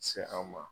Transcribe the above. Se anw ma